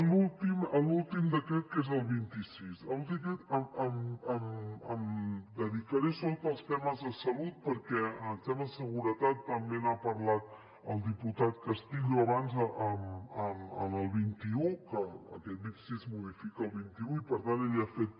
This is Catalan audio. l’últim decret que és el vint sis en l’últim en aquest em dedicaré sobretot als temes de salut perquè en temes de seguretat també n’ha parlat el diputat castillo abans en el vint un que aquest vint sis modifica el vint un i per tant ell ja ha fet